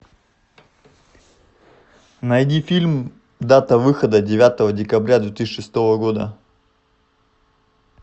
найди фильм дата выхода девятого декабря две тысячи шестого года